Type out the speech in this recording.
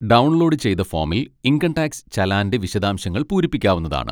Download ചെയ്ത ഫോമിൽ income tax ചലാൻ്റെ വിശദശാംശങ്ങൾ പൂരിപ്പിക്കാവുന്നതാണ്.